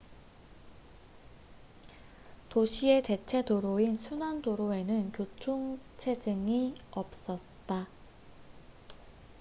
도시의 대체 도로인 순환도로에는 교통 체증이 없었다